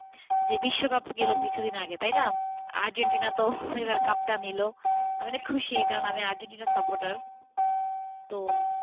যে বিশ্বকাপ গেল কিছুদিন আগে তাই না? আর্জেন্টিনা তো এবার কাপটা নিলআমিনা খুশি কারণ আমি আর্জেন্টিনা supporter তো,